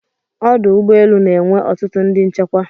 Ọdụ ụgbọelu na enwe ọtụtụ ndị nchekwa